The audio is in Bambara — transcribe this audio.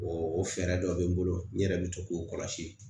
O o fɛɛrɛ dɔ bɛ n bolo n yɛrɛ bɛ to k'o kɔlɔsi